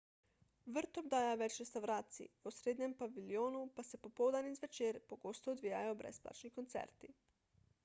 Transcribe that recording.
vrt obdaja več restavracij v osrednjem paviljonu pa se popoldan in zvečer pogosto odvijajo brezplačni koncerti